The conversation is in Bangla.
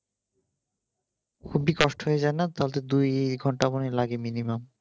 হুগলী transport হয়ে যাও না তাহলে তো দুই ঘন্টা মনে হয় লাগে minimum